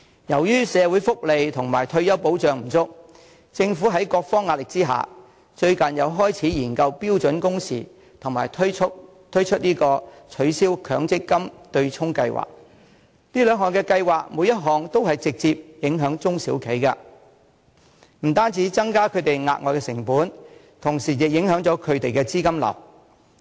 由於社會福利及退休保障不足，政府在各方壓力之下，最近又開始研究標準工時及推出取消強積金對沖計劃，每項都會直接影響中小企，不單帶來額外的成本，同時亦影響資金流。